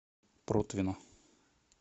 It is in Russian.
протвино